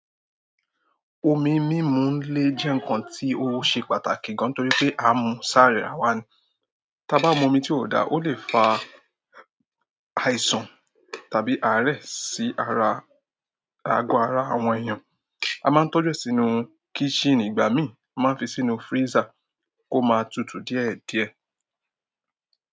Omi mímu le jẹ́ ǹkan tí ó ṣe pàtàkì gan-an torí pé a mu sára ara wa ni. Ta a bá mu omi tí ò dáa, ó lè fa àìsàn tàbí àárẹ̀ sí ara ago ara àwọn èèyàn. A máa ń tọ́jú ẹ sínú kíṣìn ìgbà mí, a máa ń fi sínú freezer kó máa tutù díẹ̀díẹ̀.